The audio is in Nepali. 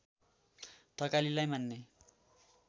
थकालीलाई मान्ने